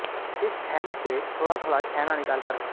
इस छैने से थोड़ा थोड़ा छैना निकाल कर